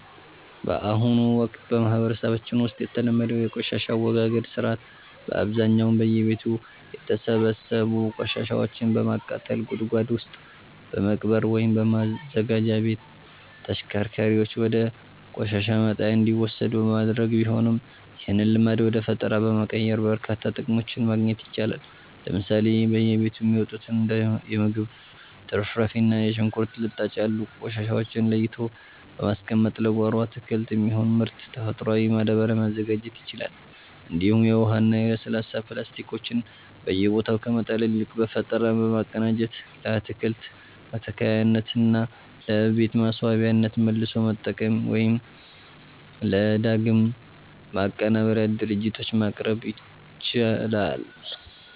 በአሁኑ ወቅት በማህበረሰባችን ውስጥ የተለመደው የቆሻሻ አወጋገድ ሥርዓት በአብዛኛው በየቤቱ የተሰበሰቡ ቆሻሻዎችን በማቃጠል፣ ጉድጓድ ውስጥ በመቅበር ወይም በማዘጋጃ ቤት ተሽከርካሪዎች ወደ ቆሻሻ መጣያ እንዲወሰዱ በማድረግ ቢሆንም፣ ይህንን ልማድ ወደ ፈጠራ በመቀየር በርካታ ጥቅሞችን ማግኘት ይቻላል። ለምሳሌ በየቤቱ የሚወጡትን እንደ የምግብ ትርፍራፊ እና የሽንኩርት ልጣጭ ያሉ ቆሻሻዎችን ለይቶ በማስቀመጥ ለጓሮ አትክልት የሚሆን ምርጥ ተፈጥሯዊ ማዳበሪያ ማዘጋጀት ይቻላል፤ እንዲሁም የውሃና የለስላሳ ፕላስቲኮችን በየቦታው ከመጣል ይልቅ በፈጠራ በማቀናጀት ለአትክልት መትከያነትና ለቤት ማስዋቢያነት መልሶ መጠቀም ወይም ለዳግም ማቀነባበሪያ ድርጅቶች ማቅረብ ይቻላል።